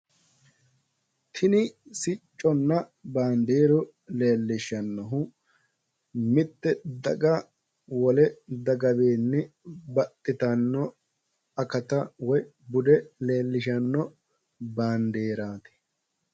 tini sicconna baandeeru leelishannohu mitte daga wole dagawiinni baxxitanno akkata woyi bude leelishano baandeeraati.